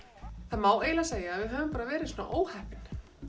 það má eiginlega segja að við höfum bara verið svona óheppin